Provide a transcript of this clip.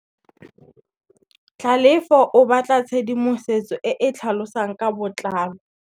Tlhalefô o batla tshedimosetsô e e tlhalosang ka botlalô.